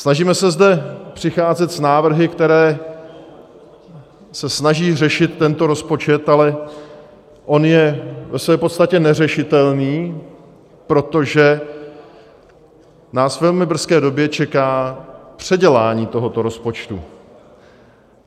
Snažíme se zde přicházet s návrhy, které se snaží řešit tento rozpočet, ale on je ve své podstatě neřešitelný, protože nás ve velmi brzké době čeká předělání tohoto rozpočtu.